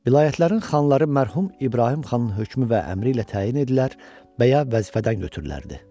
Vilayətlərin xanları mərhum İbrahim xanın hökmü və əmri ilə təyin edilər və ya vəzifədən ötürülərdi.